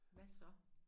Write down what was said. Hvad så